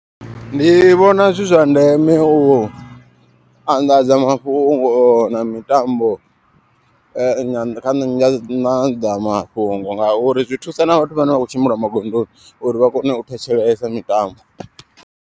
Ndi vhona zwi zwa ndeme u anḓadza mafhungo na mitambo na nga mafhungo. Ngauri zwi thusa na vhathu vhane vha kho tshimbila magondoni uri vhakone u thetshelesa mitambo.